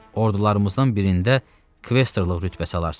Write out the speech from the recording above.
Ordularımızdan birində Kvestorluq rütbəsi alarsan.